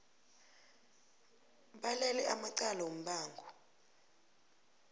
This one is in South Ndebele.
balele amacala wombango